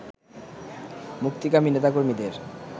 মুক্তিকামী নেতাকর্মীদের